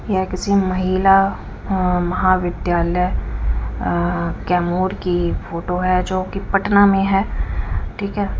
यह किसी महिला अं महाविद्यालय अअ कैमूर की फोटो है जो की पटना में है ठीक है।